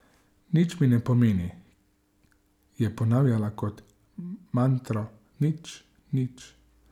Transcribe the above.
Nič mi ne pomeni, je ponavljala kot mantro, nič, nič.